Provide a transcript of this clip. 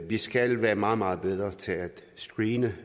vi skal være meget meget bedre til at screene